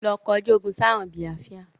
Lọ kọjú ogún sì àwọn Biafra!